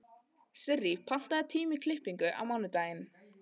Sirrý, pantaðu tíma í klippingu á mánudaginn.